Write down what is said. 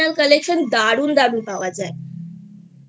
traditional collection দারুন দারুন পাওয়া যায়I